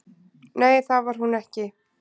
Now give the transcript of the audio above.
"""Nei, það var hún ekki."""